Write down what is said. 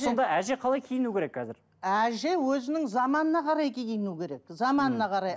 сонда әже қалай киіну керек қазір әже өзінің заманына қарай киіну керек заманына қарай